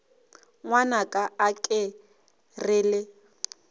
ngwanaka a ke re le